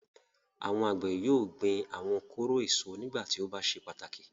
Àwọn àgbẹ̀ yóò gbin àwọn kóró èso nígbà tí ó bá ṣe pàtàkì.